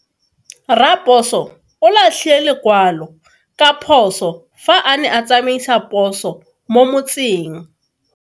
Raposo o latlhie lekwalo ka phoso fa a ne a tsamaisa poso mo motseng.